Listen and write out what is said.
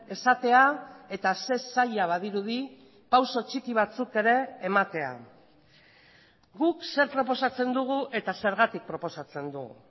esatea eta ze zaila badirudi pauso txiki batzuk ere ematea guk zer proposatzen dugu eta zergatik proposatzen dugu